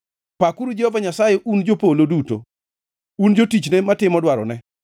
Pakuru Jehova Nyasaye, un jopolo duto, un jotichne matimo dwarone.